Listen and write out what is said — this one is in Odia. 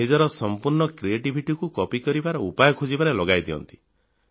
ନିଜର ସମ୍ପୂର୍ଣ୍ଣ ବୁଦ୍ଧିମତ୍ତାକୁ କପି କରିବାର ଉପାୟ ଖୋଜିବାରେ ଲଗାଇ ଦିଅନ୍ତି